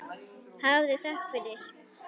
Hafðu þökk fyrir.